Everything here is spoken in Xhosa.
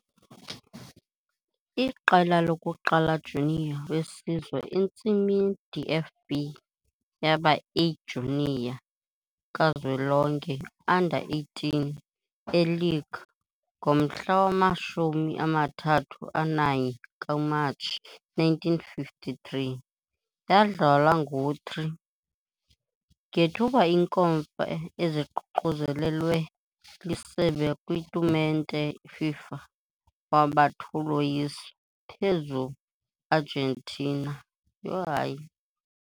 Iqela lokuqala junior wesizwe entsimini DFB yaba A-junior kazwelonke, under 18, e Liege ngomhla wama-31 Matshi 1953, yadlalwa ngo-3, ngethuba inkomfa eziququzelelwe liSebe kwitumente FIFA, waba 2 uloyiso phezu Argentina. Yho, hayi!